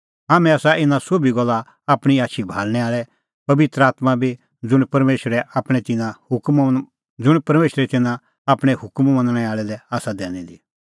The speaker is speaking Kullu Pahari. हाम्हैं आसा इना सोभी गल्ला आपणीं आछी भाल़णैं आल़ै पबित्र आत्मां बी ज़ुंण परमेशरै आपणैं तिन्नां हुकम मनणै आल़ै लै आसा दैनी दी